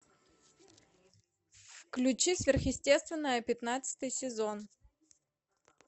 включи сверхъестественное пятнадцатый сезон